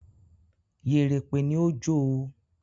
“Yèrèpè” ni ó jó o.